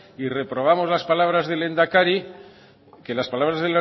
y reprobamos las palabras del lehendakari que las palabras